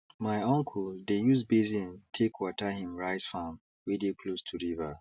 my uncle dey use basin take water him rice farm wey dey close to river